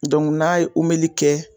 n'a ye kɛ